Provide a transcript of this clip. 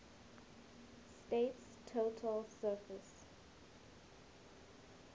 state's total surface